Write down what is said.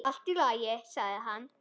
Allt í lagi, sagði hann.